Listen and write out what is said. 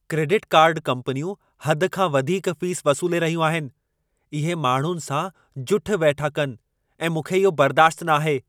Credit card कंपनियूं हद खां वधीक फ़ीस वसूले रहियूं आहिनि। इहे माण्हुनि सां जुठि वेठा कनि ऐं मूंखे इहो बर्दाश्तु न आहे।